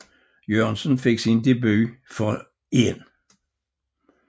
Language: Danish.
Jørgensen fik sin debut for 1